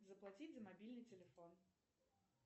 заплатить за мобильный телефон